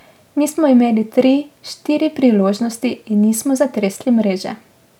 Mi smo imeli tri, štiri priložnosti in nismo zatresli mreže.